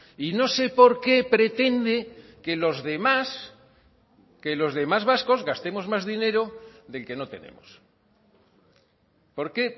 y no sé por qué pretende que los demás que los demás vascos gastemos más dinero del que no tenemos por qué